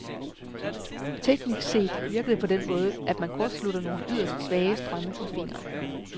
Teknisk set virker det på den måde, at man kortslutter nogle yderst svage strømme med fingeren.